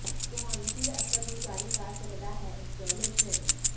ਤੁਹਾਨੂੰ ਫਿਰ ਅਸਲ ਨੂੰ ਜਾਰੀ ਕਰ ਸਕਦਾ ਹੈ ਇੰਸਟਾਲੇਸ਼ਨ